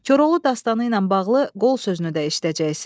Koroğlu dastanı ilə bağlı qol sözünü də işlədəcəksiz.